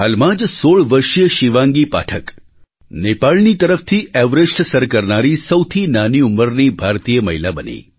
હાલમાં જ 16 વર્ષીય શિવાંગી પાઠક નેપાળની તરફથી એવરેસ્ટ સર કરનારી સૌથી નાની ઉંમરની ભારતીય મહિલા બની